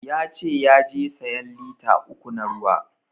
Ya ce yaje sayan lita uku na ruwa